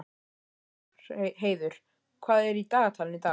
Þórheiður, hvað er í dagatalinu í dag?